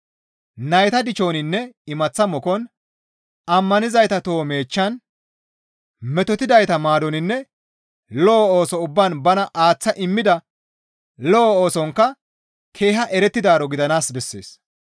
Nayta dichoninne imaththa mokon, ammanizayta toho meechchan, metotidayta maadoninne lo7o ooso ubbaan bana aaththa immada lo7o oosonkka keeha erettidaaro gidanaas bessees.